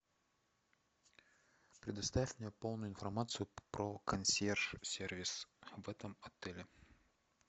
предоставь мне полную информацию про консьерж сервис в этом отеле